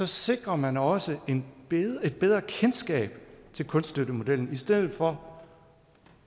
sikrer man også et bedre kendskab til kunststøttemodellen i stedet for